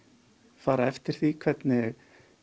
fara eftir því hvernig